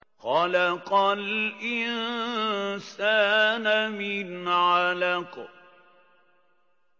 خَلَقَ الْإِنسَانَ مِنْ عَلَقٍ